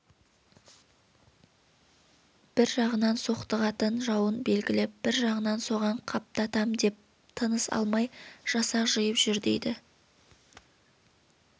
бір жағынан соқтығатын жауын белгілеп бір жағынан соған қаптатам деп тыныс алмай жасақ жиып жүр дейді